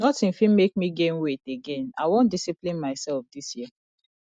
nothing fit make me gain weight again i wan discipline myself dis year